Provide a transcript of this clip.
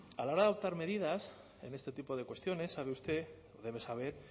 a la hora de adoptar medidas en este tipo de cuestiones sabe usted o debe saber